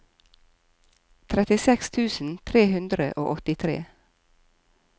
trettiseks tusen tre hundre og åttitre